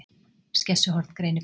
Skessuhorn greinir frá